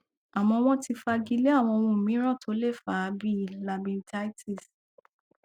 àmọ wọn ti fagilé àwọn ohun mìíràn tó lè fa á bí i labirythitis